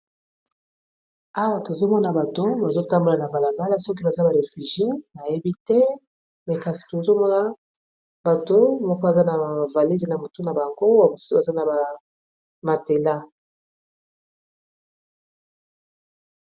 Awa tozomona bato bazotambola na balabala ,soki baza ba refugie na yebi te me kasi ozomona bato moko baza na avalede na motu na bango babusu baza na bamatela.